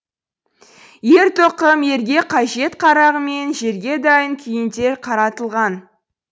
ер тоқым ерге қажет қарағымен жерге дайын күйінде қаратылған